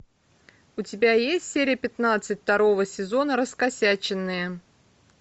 у тебя есть серия пятнадцать второго сезона раскосяченные